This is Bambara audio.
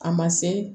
A ma se